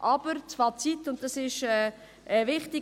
Das Fazit aber, dies ist wichtig: